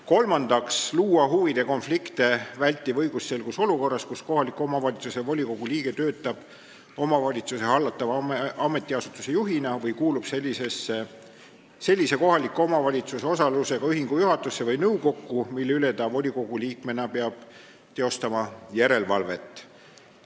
Kolmandaks tuleks luua huvide konflikte vältiv õigusselgus olukorras, kus kohaliku omavalitsuse volikogu liige töötab omavalitsuse hallatava ametiasutuse juhina või kuulub sellise kohaliku omavalitsuse osalusega ühingu juhatusse või nõukokku, mille üle ta volikogu liikmena peab teostama järelevalvet.